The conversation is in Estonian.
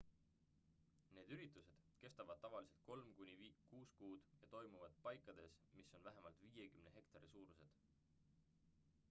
need üritused kestavad tavaliselt kolm kuni kuus kuud ja toimuvad paikades mis on vähemalt 50 hektari suurused